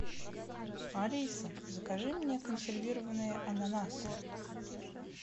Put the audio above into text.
алиса закажи мне консервированные ананасы